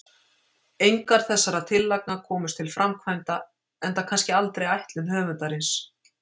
Engar þessara tillagna komust til framkvæmda, enda kannski aldrei ætlun höfundarins.